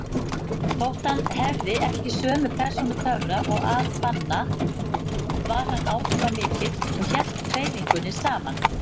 Þótt hann hefði ekki sömu persónutöfra og al-Banna var hann áhrifamikill og hélt hreyfingunni saman.